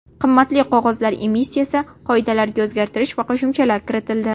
Qimmatli qog‘ozlar emissiyasi qoidalariga o‘zgartirish va qo‘shimchalar kiritildi.